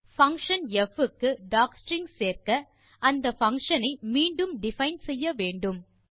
function ப் க்கு docstring சேர்க்க அந்த பங்ஷன் ஐ மீண்டும் டிஃபைன் செய்யவேண்டும்